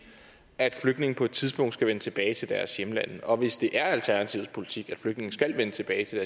at flygtninge på et tidspunkt skal vende tilbage til deres hjemlande og hvis det er alternativets politik at flygtninge skal vende tilbage til